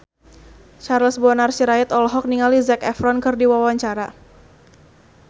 Charles Bonar Sirait olohok ningali Zac Efron keur diwawancara